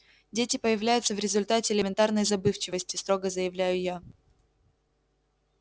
дети появляются в результате элементарной забывчивости строго заявляю я